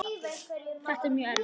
Þetta er mjög erfitt.